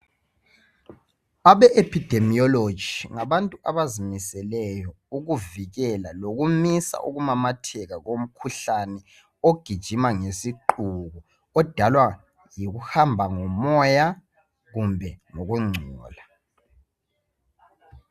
Abe epidimiyoloji ngabantu abazimiseleyo ukuvikela lokumisa ukumamatheka komkhuhlane ogijima ngesiqubu odalwa yikuhamba ngomoya kumbe ngokungcola.